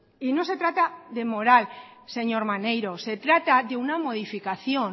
y no se trata de moral señor maneiro se trata de una modificación